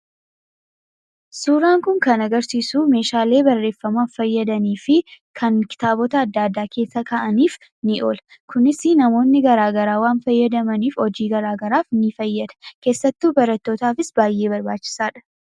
Suuraan kun kan agarsiisu meeshaalee barreeffamaaf fayyadanii fi kitaabota adda addaa keessa kaahuuf oolan agarsiisa. Kunis namoonni garaa garaa waan fayyadamaniif hojii garaa garaaf fayyada. Keessattuu, barattootaaf baay'ee barbaachisaadha.